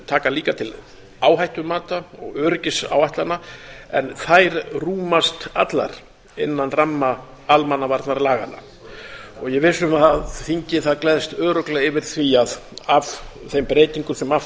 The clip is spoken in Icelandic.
taka líka til áhættumata og öryggisáætlana en þær rúmast allar innan ramma almannavarnalaganna ég er viss um að þingið gleðst örugglega yfir því að af þeim breytingum sem af þessu